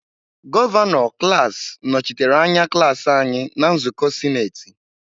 Gọvanọ klaasị nọchitere anya klaasị anyị na nzukọ sinetị.